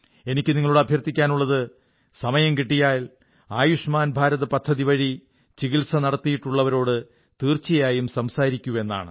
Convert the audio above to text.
എനിക്ക് നിങ്ങളോട് അഭ്യർഥിക്കാനുള്ളത് സമയം കിട്ടിയാൽ ആയുഷ്മാൻ ഭാരത് പദ്ധതി വഴി ചികിത്സ നടത്തിയിട്ടുള്ളവരോട് തീർച്ചയായും സംസാരിക്കൂ എന്നാണ്